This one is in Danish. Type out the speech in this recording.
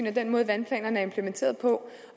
af den måde vandplanerne er implementeret på